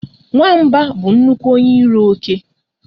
Nwamba bụ nnukwu onye iro oke